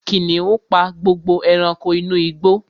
Kìnìún pa gbogbo ẹranko inú igbó